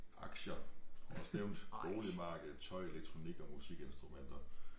Aktier står også nævnt boligmarkedet tøj elektronik og musikinstrumenter